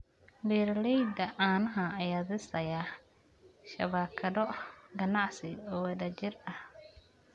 Beeralayda caanaha ayaa dhisaya shabakado ganacsi oo wadajir ah.